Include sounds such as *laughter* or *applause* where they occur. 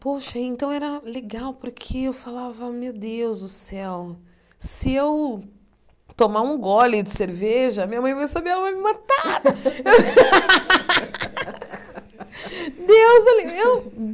Poxa, então era legal porque eu falava, meu Deus do céu, se eu tomar um gole de cerveja, minha mãe vai saber, ela vai me matar. *laughs* Deus *unintelligible* eu